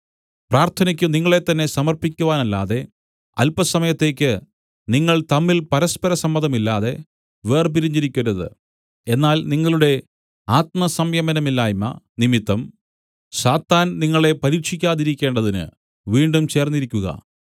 പ്രാർത്ഥനയ്ക്കു നിങ്ങളെത്തന്നെ സമർപ്പിക്കുവാനല്ലാതെ അല്പസമയത്തേക്ക് നിങ്ങൾ തമ്മിൽ പരസ്പര സമ്മതമില്ലാ‍തെ വേർപിരിഞ്ഞിരിക്കരുത് എന്നാൽ നിങ്ങളുടെ ആത്മസംയമനമില്ലായ്മ നിമിത്തം സാത്താൻ നിങ്ങളെ പരീക്ഷിക്കാതിരിക്കേണ്ടതിന് വീണ്ടും ചേർന്നിരിക്കുക